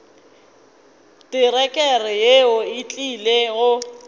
terekere yeo e tlile go